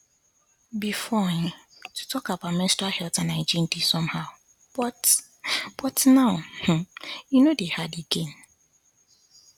before um to talk about menstrual health and hygiene dey somehow but but now um e no dey hard again